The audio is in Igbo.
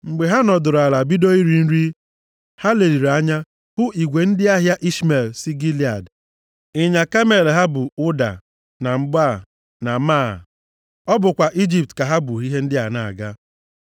Mgbe ha nọdụrụ ala bido iri nri, ha leliri anya ha hụ igwe ndị ahịa Ishmel si Gilead. Ịnyịnya kamel ha bu ụda na mgbaa na máá. Ọ bụkwa Ijipt ka ha bu ihe ndị a na-aga.